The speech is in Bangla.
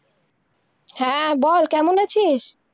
হ্যাঁ, বল, কেমন আছিস?